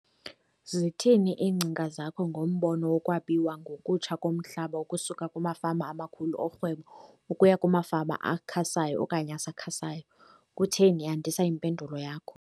Zithini iingcinga zakho ngombono wokwabiwa ngokutsha komhlaba ukusuka kumafama amakhulu orhwebo ukuya kumafama akhasayo okanye asakhasayo? Kutheni? Yandisa yimpendulo yakho.